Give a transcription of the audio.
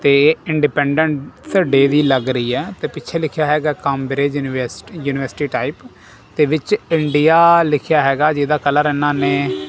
ਸਾਹਮਨੇ ਇੱਕ ਕਾਉੰਟਰ ਨਜ਼ਰ ਆ ਰਿਹਾ ਹੈ ਇੱਕ ਸਲੈਬਸ ਨਜ਼ਰ ਆ ਰਹੀਆਂ ਹਨ ਸ਼ੀਸ਼ੇ ਦਿਆਂ ਵੱਖਰੀਆਂ ਸਲੈਬਸ ਲੱਗੀਆਂ ਹੋਈਆਂ ਹਨ.